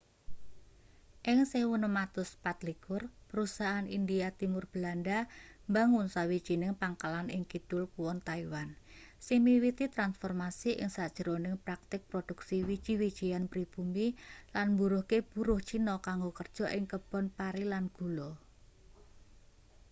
ing 1624 perusahaan india timur belanda mbangun sawijining pangkalan ing kidul kuon taiwan sing miwiti transformasi ing sajroning praktik produksi wiji-wijian pribumi lan mburuhke buruh cina kanggo kerja ing kebon pari lan gula